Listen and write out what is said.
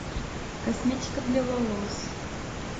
косметика для волос